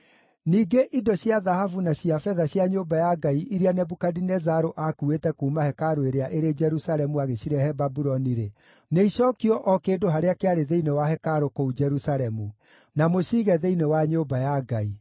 Ningĩ indo cia thahabu na cia betha cia nyũmba ya Ngai iria Nebukadinezaru aakuuĩte kuuma hekarũ ĩrĩa ĩrĩ Jerusalemu agĩcirehe Babuloni-rĩ, nĩicookio o kĩndũ harĩa kĩarĩ thĩinĩ wa hekarũ kũu Jerusalemu; na mũciige thĩinĩ wa nyũmba ya Ngai.